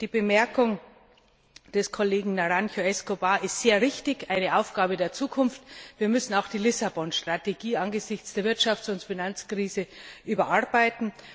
Die Bemerkung des Kollegen Naranjo Escobar ist sehr richtig und betrifft eine Aufgabe für die Zukunft. Wir müssen auch die Lissabon Strategie angesichts der Wirtschafts und Finanzkrise überarbeiten.